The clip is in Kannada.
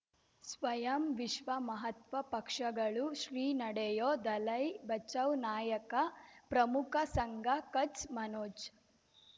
ಸ್ವಯಂ ವಿಶ್ವ ಮಹಾತ್ಮ ಪಕ್ಷಗಳು ಶ್ರೀ ನಡೆಯೂ ದಲೈ ಬಚೌ ನಾಯಕ ಪ್ರಮುಖ ಸಂಘ ಕಚ್ ಮನೋಜ್